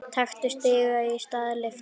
Taktu stiga í stað lyftu.